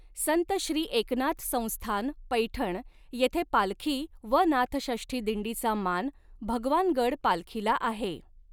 संत श्री एकनाथ संस्थान पैठण येथे पालखी व नाथषष्ठी दिंडीचा मान भगवानगड पालखीला आहे.